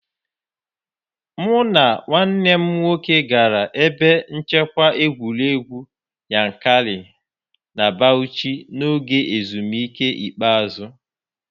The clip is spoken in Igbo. Mụ na nwanne m nwoke gara ebe nchekwa egwuregwu Yankari na Bauchi n'oge ezumike ikpeazụ